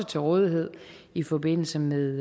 til rådighed i forbindelse med